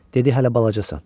Dedi hələ balacasan.